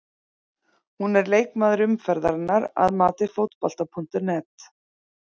Hún er leikmaður umferðarinnar að mati Fótbolta.net.